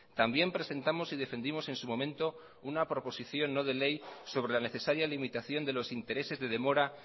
también presentamos y defendimos en su momento una proposición no de ley sobre la necesaria limitación de los intereses de demora